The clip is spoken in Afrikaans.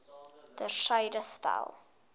ter syde stel